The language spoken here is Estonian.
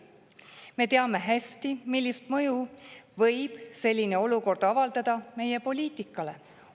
Me teame hästi, millist mõju võib selline olukord avaldada meie poliitikale.